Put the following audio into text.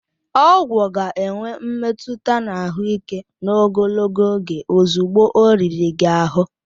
Ọgwụ ga-enwe mmetụta na ahụike n'ogologo oge ozugbo ọ riri gị ahụ